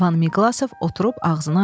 Van Miqlasov oturub ağzını açdı.